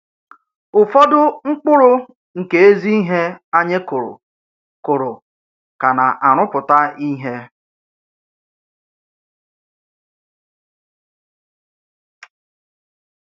Ụ̀fọdù mkpụrụ̀ nke èzìíhè ányị̀ kùrù kùrù ka nà-àrụ́pụtà íhè.